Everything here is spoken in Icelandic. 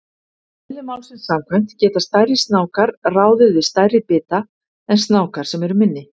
Eðli málsins samkvæmt geta stærri snákar ráðið við stærri bita en snákar sem eru minni.